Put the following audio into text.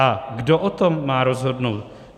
A kdo o tom má rozhodnout?